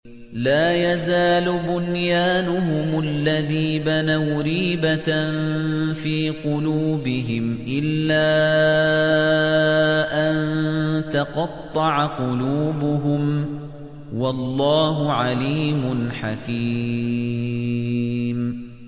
لَا يَزَالُ بُنْيَانُهُمُ الَّذِي بَنَوْا رِيبَةً فِي قُلُوبِهِمْ إِلَّا أَن تَقَطَّعَ قُلُوبُهُمْ ۗ وَاللَّهُ عَلِيمٌ حَكِيمٌ